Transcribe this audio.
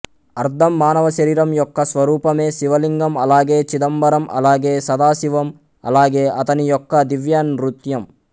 అర్ధం మానవ శరీరం యొక్క స్వరూపమే శివలింగం అలాగే చిదంబరం అలాగే సదాశివం అలాగే అతని యొక్క దివ్య నృత్యం